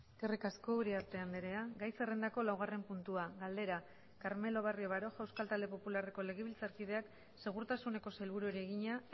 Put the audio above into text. eskerrik asko uriarte andrea gai zerrendako laugarren puntua galdera carmelo barrio baroja euskal talde popularreko legebiltzarkideak segurtasuneko sailburuari egina